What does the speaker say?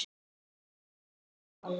Ég kaupi mikið af bolum.